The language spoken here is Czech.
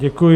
Děkuji.